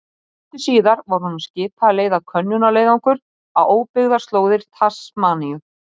Sendir Árna Páli opið bréf